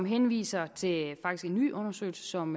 henviser til en ny undersøgelse som